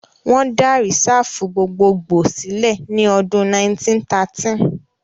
Wọ́n dá Rìsáàfù gbogbogbòò sílẹ̀ ní ọdún 1913